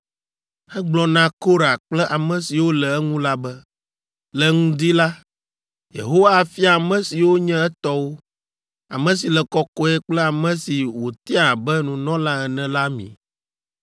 Egblɔ na Korah kple ame siwo le eŋu la be, “Le ŋdi la, Yehowa afia ame siwo nye etɔwo, ame si le kɔkɔe kple ame si wòtia abe nunɔla ene la mi.